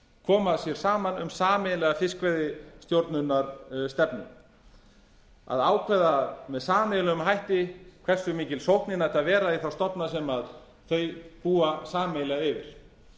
koma sér saman um sameiginlega fiskveiðistjórnarstefnu að ákveða með sameiginlegum hætti hversu mikil sóknin ætti að vera í þá stofna sem þau búa sameiginlega yfir